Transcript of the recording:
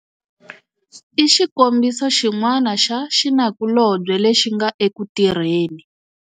I xikombiso xin'wana xa xinakulobye lexi nga eku tirheni.